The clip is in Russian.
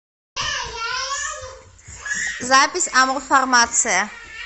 запись амурфармация